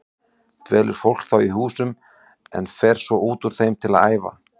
Dvelur fólk þá í húsunum en fer svo út úr þeim til að æfa.